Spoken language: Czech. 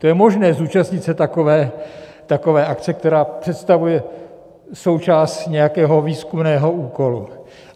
To je možné zúčastnit se takové akce, která představuje součást nějakého výzkumného úkolu.